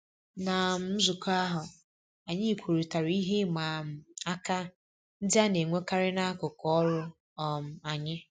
Ná um nzukọ ahụ, anyị kwurịtara ihe ịma um aka ndị a na-enwekarị n'akụkụ ọrụ um anyị